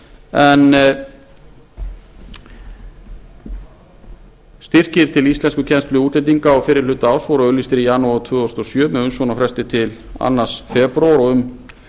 en styrkir til íslenskukennslu útlendinga á fyrri hluta árs voru auglýstir í janúar tvö þúsund og sjö með umsóknarfresti til annan febrúar og um